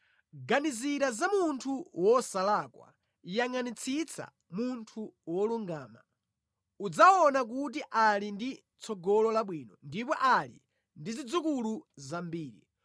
Ganizira za munthu wosalakwa, yangʼanitsitsa munthu wolungama; udzaona kuti ali ndi tsogolo labwino ndipo ali ndi zidzukulu zambiri.